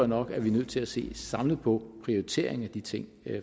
nok at vi er nødt til at se samlet på prioriteringen af de ting